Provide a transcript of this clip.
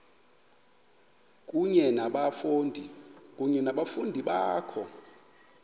kunye nabafundi bakho